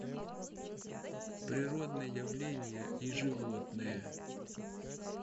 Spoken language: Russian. природные явления и животные